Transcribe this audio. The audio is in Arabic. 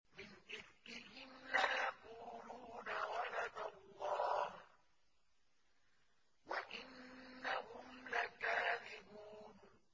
وَلَدَ اللَّهُ وَإِنَّهُمْ لَكَاذِبُونَ